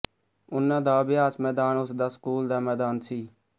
ਉਨ੍ਹਾਂ ਦਾ ਅਭਿਆਸ ਮੈਦਾਨ ਉਸ ਦਾ ਸਕੂਲ ਦਾ ਮੈਦਾਨ ਸੀ